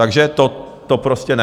Takže to prostě ne.